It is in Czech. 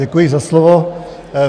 Děkuji za slovo.